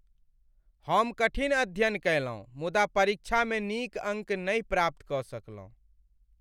हम कठिन अध्ययन कयलहुँ मुदा परीक्षामे नीक अङ्क नहि प्राप्त कऽ सकलहुँ।